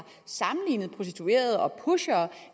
sammenlignet prostituerede og pushere